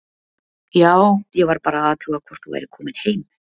Já, ég var bara að athuga hvort þú værir komin heim.